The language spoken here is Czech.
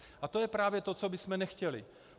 A to je právě to, co bychom nechtěli.